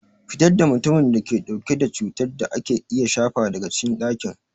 Fitar da mutumin da ke dauke da cutar da ake iya shafa daga cikin dakin!